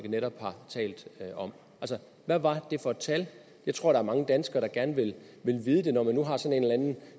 netop har talt om hvad var det for et tal jeg tror at mange danskere gerne vil vide det når man nu har sådan en eller anden